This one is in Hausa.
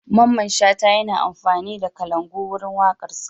Mamman Shata yana amfani da kalangu wurin waƙarsa.